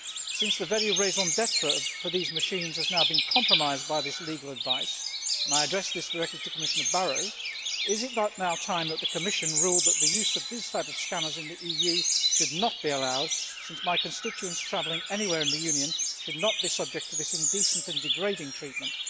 Since the very raison d'être for these machines has now been compromised by this legal advice and I address this directly to Commissioner Barrot is it not now time that the Commission ruled that the use of these types of scanner in the EU should not be allowed, since my constituents travelling anywhere in the Union should not be subject to this indecent and degrading treatment?